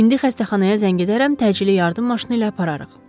İndi xəstəxanaya zəng edərəm, təcili yardım maşını ilə apararıq.